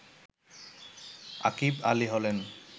আকিভ আলী হলেন